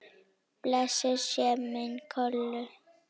Blessuð sé minning Kollu.